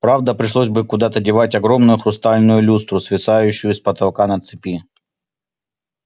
правда пришлось бы куда-то девать огромную хрустальную люстру свисающую с потолка на цепи